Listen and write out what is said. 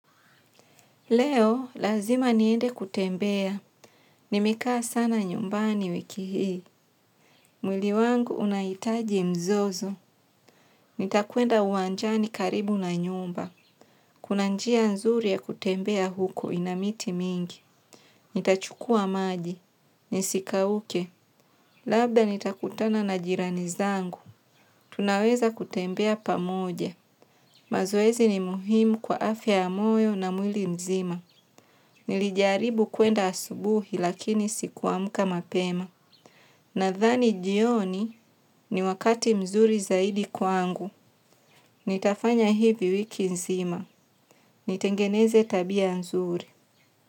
Leo, lazima niende kutembea. Nimekaa sana nyumbani wiki hii. Mwili wangu unahitaji mzozo. Nitakwenda uwanjani karibu na nyumba. Kuna njia nzuri ya kutembea huko ina miti mingi. Nitachukua maji. Nisikauke. Labda nitakutana na jirani zangu. Tunaweza kutembea pamoja. Mazoezi ni muhimu kwa afya moyo na mwili mzima. Nilijaribu kwenda asubuhi lakini sikuamka mapema. Nadhani jioni ni wakati mzuri zaidi kwangu. Nitafanya hivi wiki nzima. Nitengeneze tabia nzuri.